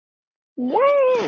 Þau voru mörg.